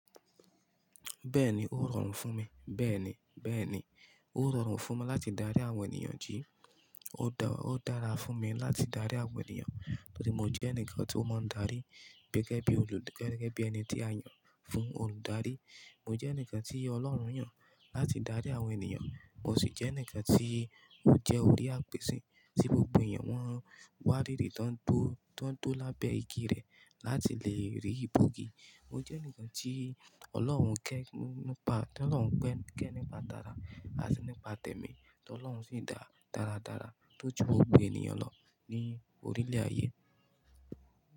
Bẹ́ẹ̀ni, ó rọrùn fún mi. Bẹ́ẹ̀ni, bẹ́ẹ̀ni, ó rọrùn fún mi láti darí àwọn ènìyàn jí. Ó dára fún mi láti darí àwọn ènìyàn nítorí mo jẹ́ ǹkan tí ó mọ́ darí gẹ́gẹ́ bí olù, gẹ́gẹ́ bí ẹni tí a yàn fún olùdarí. Mo jẹ́ ǹkan tí Ọlọ́run yàn láti darí àwọn ènìyàn, mo sì jẹ́ ǹkan tí ó jẹ́ orí àpèṣẹ tí gbogbo ènìyàn wọn wá ríri tán tó, tán tó lábẹ́ igi rẹ̀ láti lè rí ibùgí. Mo jẹ́ ǹkan tí Ọlọ́run ke nípa, tí Ọlọ́run kẹ́ nípa tara àti nípa tẹ̀mí, tí Ọlọ́run sì dá dáradára tó ju gbogbo ènìyàn lọ ní orílẹ̀ ayé.